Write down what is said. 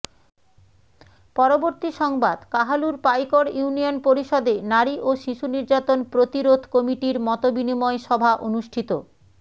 পরবর্তী সংবাদ কাহালুর পাইকড় ইউনিয়ন পরিষদে নারী ও শিশু নির্যাতন প্রতিরোধ কমিটির মতবিনিময় সভা অনুষ্ঠিত